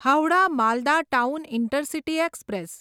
Howrah Malda town intercity express